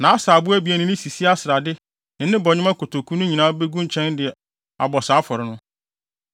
nʼasaabo abien ne ne sisia srade ne ne bɔnwoma kotoku no nyinaa begu nkyɛn de abɔ saa afɔre no.